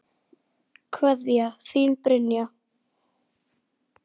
Kveðja, þín Brynja.